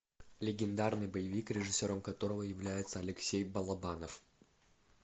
легендарный боевик режиссером которого является алексей балабанов